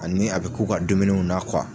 Ani a bɛ k'u ka dumuniw na